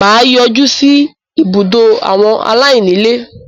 mà á yọjú sí “ ibùdó àwọn aláìní ilé ”.